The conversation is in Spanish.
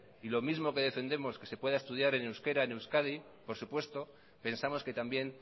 lo mismo que defendemos que se pueda estudiar en euskera en euskadi por supuesto pensamos que también